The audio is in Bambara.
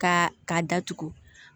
Ka k'a datugu